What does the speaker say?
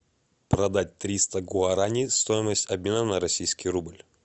продать триста гуарани стоимость обмена на российский рубль